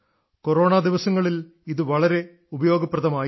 corona ദിവസങ്ങളിൽ ഇത് വളരെ ഉപയോഗമായിരുന്നു